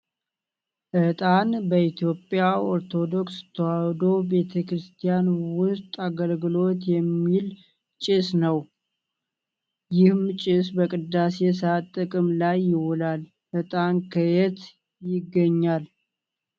እጣን በኢትዮጵያ ኦርቶዶክስ ተዋሕዶ ቤተክርስቲያን ውስጥ አገልግሎት የሚል ጭስ ነው። ይህም ጭስ በቅዳሴ ሰአት ጥቅም ላይ ይውላል። እጣን ከየት ይገኛል?